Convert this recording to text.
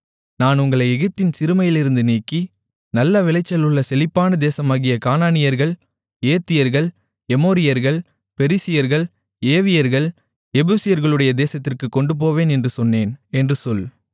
நான் உங்களை எகிப்தின் சிறுமையிலிருந்து நீக்கி நல்ல விளைச்சல் உள்ள செழிப்பான தேசமாகிய கானானியர்கள் ஏத்தியர்கள் எமோரியர்கள் பெரிசியர்கள் ஏவியர்கள் எபூசியர்களுடைய தேசத்திற்குக் கொண்டுபோவேன் என்றும் சொன்னேன் என்று சொல்